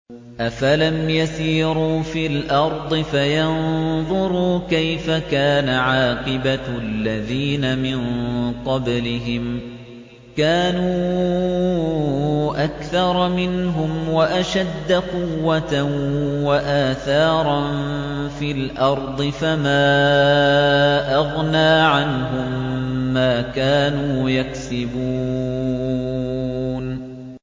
أَفَلَمْ يَسِيرُوا فِي الْأَرْضِ فَيَنظُرُوا كَيْفَ كَانَ عَاقِبَةُ الَّذِينَ مِن قَبْلِهِمْ ۚ كَانُوا أَكْثَرَ مِنْهُمْ وَأَشَدَّ قُوَّةً وَآثَارًا فِي الْأَرْضِ فَمَا أَغْنَىٰ عَنْهُم مَّا كَانُوا يَكْسِبُونَ